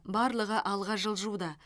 барлығы алға жылжуда